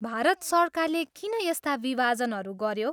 भारत सरकारले किन यस्ता विभाजनहरू गऱ्यो?